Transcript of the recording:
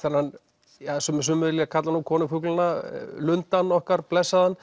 það sem sumir kalla konung fuglanna lundann okkar blessaðan